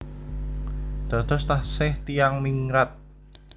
Dados taksih tiyang ningrat